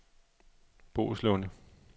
Boeslunde